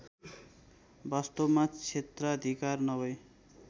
वास्तवमा क्षेत्राधिकार नभर्इ